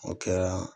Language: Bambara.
O kɛra